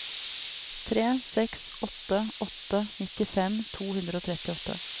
tre seks åtte åtte nittifem to hundre og trettiåtte